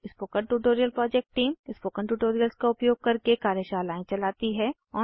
spoken tutorial project team spoken tutorials का उपयोग करके कार्यशालाएं चलाती है